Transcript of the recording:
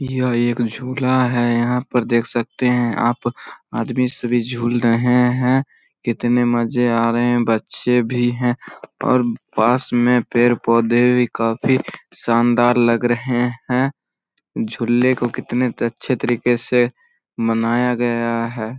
यह एक झुला है। यहाँ पर देख सकते हैं आप आदमी सबी झूल रहे हैं कितने मजे आ रहे हैं। बच्चे भी हैं और पास मे पेड़-पौधे भी काफी शानदार लग रहे हैं। झुल्ले को कितने अच्छे तरीके से मनाया गया है।